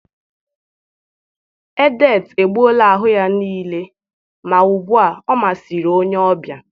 Edet egbuola ahụ ya niile, ma ugbu a ọ masịrị onye ọbịa